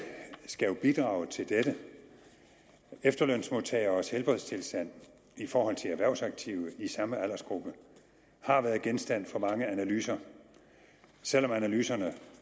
skal jo bidrage til dette efterlønsmodtageres helbredstilstand i forhold til erhvervsaktive i samme aldersgruppe har været genstand for mange analyser selv om analyserne